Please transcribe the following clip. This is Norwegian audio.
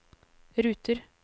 ruter